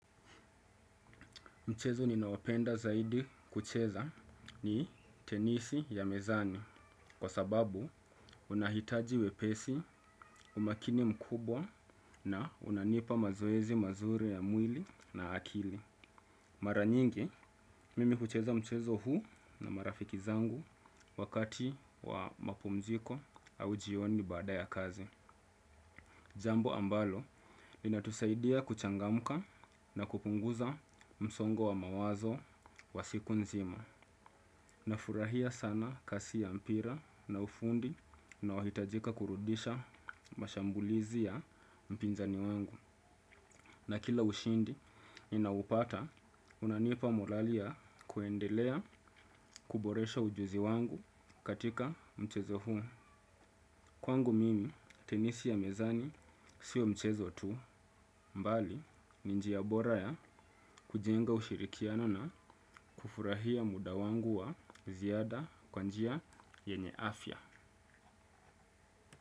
Mchezo ninaopenda zaidi kucheza ni tenisi ya mezani kwa sababu una hitaji wepesi umakini mkubwa na unanipa mazoezi mazuri ya mwili na akili. Mara nyingi mimi hucheza mchezo huu na marafiki zangu wakati wa mapumziko au jioni bada ya kazi. Jambo ambalo linatusaidia kuchangamka na kupunguza msongo wa mawazo wa siku nzima. Nafurahia sana kasi ya mpira na ufundi unaohitajika kurudisha mashambulizi ya mpinzani wangu. Na kila ushindi ninaopata unanipa morali ya kuendelea kuboresha ujuzi wangu katika mchezo huu. Kwangu mimi tenisi ya mezani sio mchezo tu bali ni njia ya bora ya kujenga ushirikiano na kufurahia muda wangu wa ziada kwa njia yenye afya.